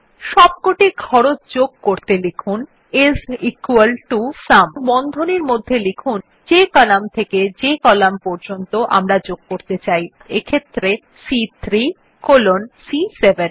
সবকটি খরচ যোগ করতে লিখুন আইএস ইকুয়াল টো সুম এবং বন্ধনীর মধ্যে যে কলাম থেকে যে কলাম পর্যন্ত আমরা যোগ করতে চাই অর্থাৎ সি3 কলন সি7